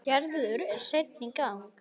Gerður er sein í gang.